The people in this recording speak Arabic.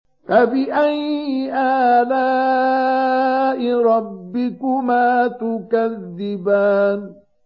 فَبِأَيِّ آلَاءِ رَبِّكُمَا تُكَذِّبَانِ